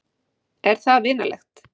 Er það vinalegt?